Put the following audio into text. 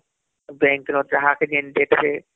bank ରେ ଯାହାକେ ଯେନ୍ତା ଟିକେ ......